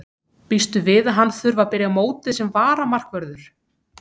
Býstu við að hann þurfi að byrja mótið sem varamarkvörður?